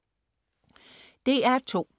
DR2: